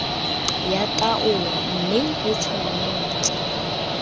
ya taolo mme e tshwanetse